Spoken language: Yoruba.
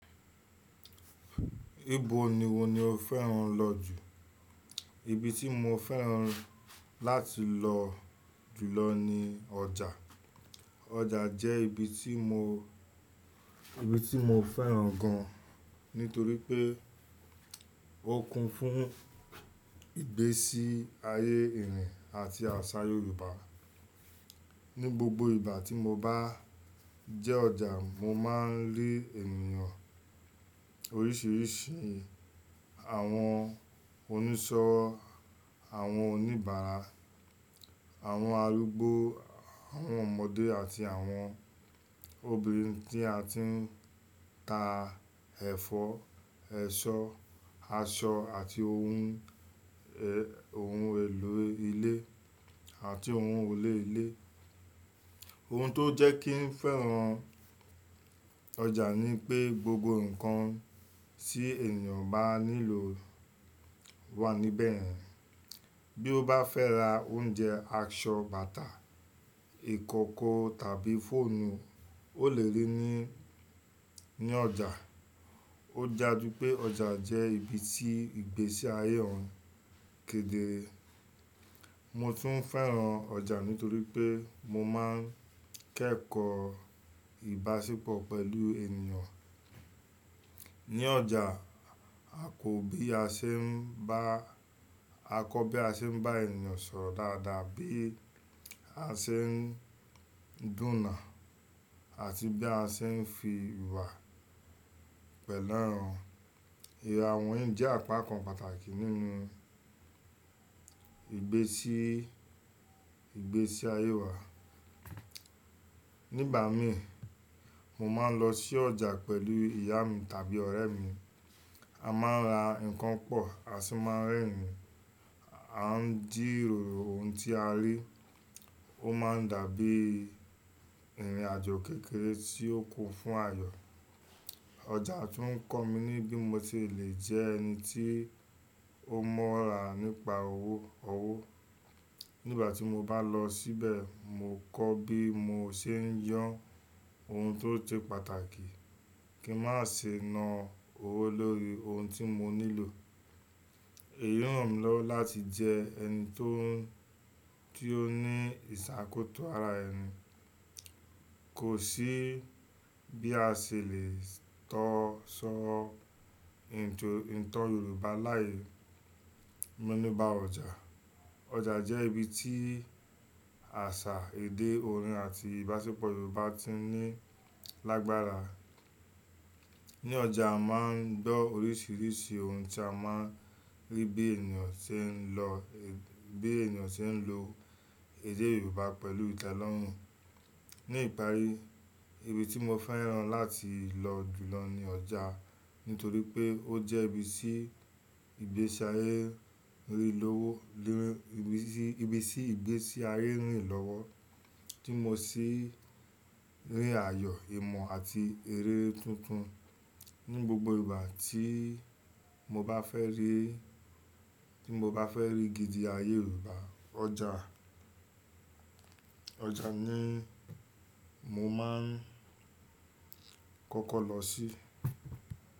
Ibo ni iwo ni o fẹ́ràn lọ jù? Ibi tí mo fẹ́ràn láti lọ jùlọ ni ọjà. Ọjà jẹ́ ibi tí mo, ibi tí mo fẹ́ràn gan, nítorí pé ó kún fún ìgbésí ayé èèyàn àti àṣà Yorùbá. Ni gbogbo ìgbà tí mo bá jẹ́ ọjà, mo máa ń rí ènìyàn oríṣiríṣi, àwọn oníṣọ́, àwọn oníbàárà, àwọn arúgbó, àwọn ọmọdé àti àwọn obìnrin tí a ti ń ta ẹ̀fọ́, ẹ̀ṣọ́, aṣọ àti ohun, eh, ohun èlò ilé àti ohun olè ilé. Ohun tó jẹ́ kí n fẹ́ràn ọjà ni pé gbogbo nǹkan tí ènìyàn bá nílò wà níbẹ̀. Bí ó bá fẹ́ ra oúnjẹ, aṣọ, bàtà, ìkókó tàbí fóònù, ó lè rí i ní, ní ọjà. Ó daju pé ọjà jẹ́ ibi tí ìgbésí ayé hàn kedere. Mo tún fẹ́ràn ọjà nítorí pé mo máa ń kẹ́kọ̀ọ́ ìbáṣepọ̀ pẹ̀lú ènìyàn. Ni ọjà, a kò bí a ṣe ń bá, a kọ́ bí a ṣe ń bá ènìyàn sọ̀rọ̀ dáadáa, bí a ṣe ń dunà àti bí a ṣe ń fi ìwà pẹ̀lú àwọn èèyàn wọ̀nyí jẹ́ àpakan pàtàkì nínú ìgbésí, ìgbésí ayé wa. Ni ìgbà mí, mo máa ń lọ sí ọjà pẹ̀lú ìyá mi tàbí ọ̀rẹ́ mi. A máa ń ra nǹkan pọ̀, a sì máa ń rẹ̀rin. A ń jíróro ohun tí a rí. Ó máa ń dàbí ìrìnàjò kékeré tí ó kún fún ayọ̀. Ọjà tún kọ́ mi ní bí mo ti lè jẹ́ ẹni tí ó mọ́ra nípa owó, ọwọ́. Ni ìgbà tí mo bá lọ síbẹ̀, mo kọ́ bí mo ṣe ń yàn ohun tó ṣe pàtàkì kí n má ṣe na owó lórí ohun tí mo nílò. Èyí ràn mí lọ́wọ́ láti jẹ ẹni tó, tí ó ní ìṣàkóso ara ẹni. Kò sí bí a ṣe lè tọ́ṣọ́ ìtàn, ìtàn Yorùbá láì mọ́ nípa ọjà. Ọjà jẹ́ ibi tí àṣà, èdè, orin àti ìbáṣepọ̀ Yorùbá ti ní lágbára. Ni ọjà, a máa ń gbọ́ oríṣiríṣi ohun tí a máa ń rí bí ènìyàn ṣe ń lọ, bí ènìyàn ṣe ń lo èdè Yorùbá pẹ̀lú ìtànlọ́rùn. Ni ìparí, ibi tí mo fẹ́ràn láti lọ jùlọ ni ọjà. Nítorí pé ó jẹ́ ibi tí ìgbésí ayé rìnlówó, lè, ibi tí, ibi tí ìgbésí ayé rìnlówó tí mo sì rí ayọ̀, ìmọ̀ àti eré tuntun. Ni gbogbo ìgbà tí mo bá fẹ́ rí, tí mo bá fẹ́ rí gidi ayé Yorùbá, ọjà, ọjà ni mo máa ń kọ́kọ́ lọ sí.